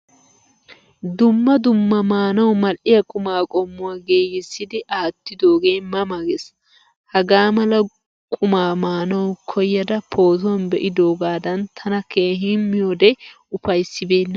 Dumma dumma maanawu mal'iya quma qommuwaa giigisidi aattidoge ma ma gees. Hagaamala qumma maanawu koyada pootuwaan beidogadan tana keehin miyode ufaysibena.